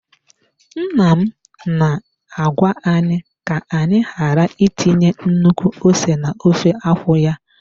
Nna m na-agwa anyị ka anyị ghara itinye nnukwu ose n'ofe akwụ ya.